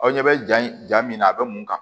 Aw ɲɛ bɛ ja min na a bɛ mun kan